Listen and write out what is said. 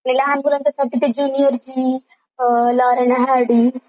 मी लहान E F G uh Lauren Hardy